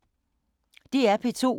DR P2